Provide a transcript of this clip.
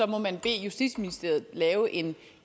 må man bede justitsministeriet lave en